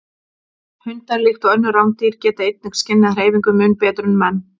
Hundar, líkt og önnur rándýr, geta einnig skynjað hreyfingu mun betur en menn.